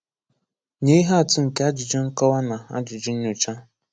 Nye ihe atụ nke ajụjụ nkọwa na ajụjụ nnyocha.